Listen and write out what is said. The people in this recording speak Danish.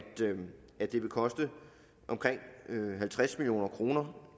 det vil koste omkring halvtreds million kroner